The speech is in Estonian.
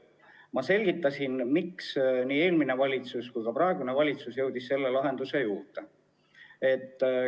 Ma selgitasin, miks nii eelmine valitsus kui ka praegune valitsus jõudis sellise lahenduseni.